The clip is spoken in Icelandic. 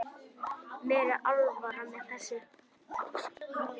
Mér er alvara með þessu.